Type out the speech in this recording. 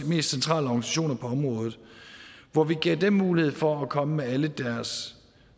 mest centrale organisationer på området hvor vi gav dem mulighed for at komme med alle deres